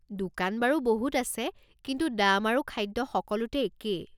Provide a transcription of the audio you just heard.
দোকান বাৰু বহুত আছে, কিন্তু দাম আৰু খাদ্য সকলোতে একেই।